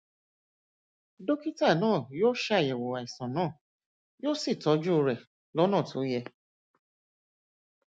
dókítà náà yóò ṣàyẹwò àìsàn náà yóò sì tọjú rẹ lọnà tó yẹ